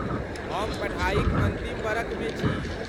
हम पढ़ाइक अन्तिम बरखमे छी।